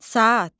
Saat.